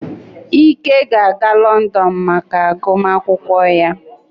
Ike ga-aga Lọndọnụ maka agụmakwụkwọ ya